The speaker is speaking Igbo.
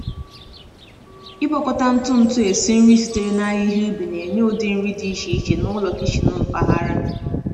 Ịgwakọta ntụ ntụ esi nri sitere n’ahịhịa ubi na-enye ụdị nri dị iche iche n’ụlọ kichin mpaghara.